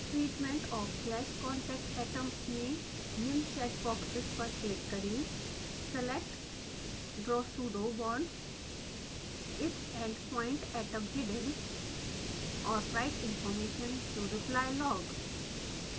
treatment of clash/contact atoms में निम्न check boxes पर क्लिक करें select draw pseudobonds if endpoint atom hidden और write information to reply log